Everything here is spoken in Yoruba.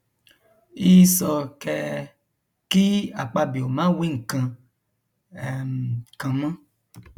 í sọ kẹẹ kí akpabio má wí nǹkan um kan mọ